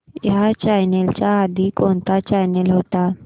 ह्या चॅनल च्या आधी कोणता चॅनल होता